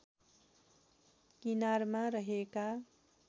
किनारमा रहेका